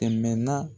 Tɛmɛnaa